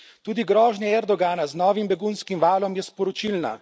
Tudi grožnja Erdogana z novim begunskim valom je sporočilna.